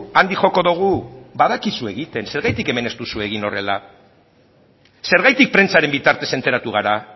handik joko dugu badakizu egiten zergatik hemen ez duzu egin horrela zergatik prentsaren bitartez enteratu gara